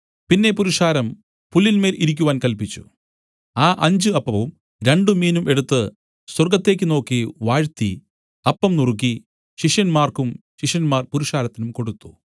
പിന്നെ പുരുഷാരം പുല്ലിന്മേൽ ഇരിക്കുവാൻ കല്പിച്ചു ആ അഞ്ച് അപ്പവും രണ്ടുമീനും എടുത്തു സ്വർഗ്ഗത്തേക്ക് നോക്കി വാഴ്ത്തി അപ്പം നുറുക്കി ശിഷ്യന്മാർക്കും ശിഷ്യന്മാർ പുരുഷാരത്തിനും കൊടുത്തു